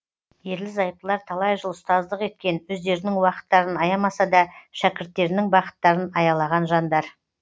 ерлі зайыптылар талай жыл ұстаздық еткен өздерінің уақыттарын аямаса да шәкірттерінің бақыттарын аялаған жандар